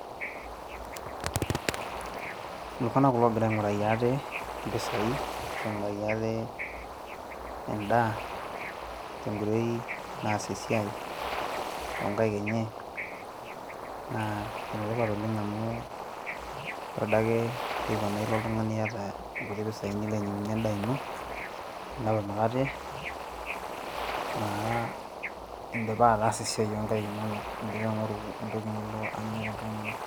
iltung'anak kulo ogira aing'uraki ate impisai ashu aing'uraki ate endaa tenkoitoi naas esiai onkaik enye naa enetipat oleng amu ore adake teipa naa ilo oltung'ani iyata nkuti pisai nilo ainyinag'unyie endaa ino ninap emukate naa indipa ataasa esiai onkaik inonok indipa aing'oru entoki nilo anya tenkang ino.